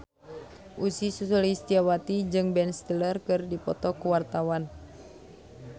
Ussy Sulistyawati jeung Ben Stiller keur dipoto ku wartawan